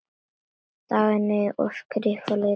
Dagný: Og skrifa litla stafi.